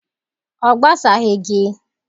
Ọ gbasaghị gị.